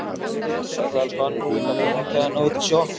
Sæll elskan, ég fékk að hringja hérna útí sjoppu.